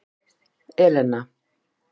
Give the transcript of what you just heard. Elena